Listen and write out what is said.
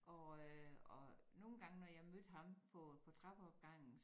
Og øh og nogen gange når jeg mødte ham på på trappeopgangen